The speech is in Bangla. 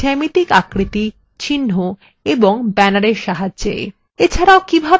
মৌলিক geometric আকৃতি চিহ্ন এবং bannersএর সাহায্যে